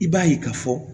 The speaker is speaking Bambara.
I b'a ye k'a fɔ